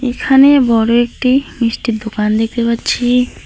এখানে বড় একটি মিষ্টির দোকান দেখতে পাচ্ছি।